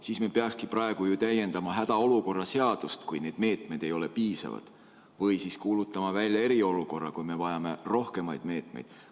Siis me peakski praegu täiendama hädaolukorra seadust, kui need meetmed ei ole piisavad, või siis kuulutama välja eriolukorra, kui me vajame rohkemaid meetmeid.